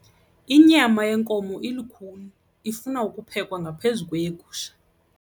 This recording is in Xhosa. Inyama yenkomo ilukhuni ifuna ukuphekwa ngaphezu kweyegusha.